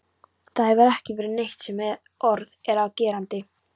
Það hefur ekki verið neitt sem orð er á gerandi.